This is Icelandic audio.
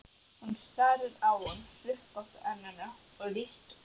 Hún starir á hann undan hrukkóttu enninu, og líkt og